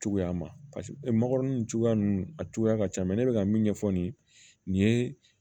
Cogoya ma nin cogoya ninnu a cogoya ka ca mɛ ne bɛka min ɲɛfɔ nin ye